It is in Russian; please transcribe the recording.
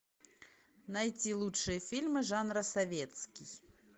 найти лучшие фильмы жанра советский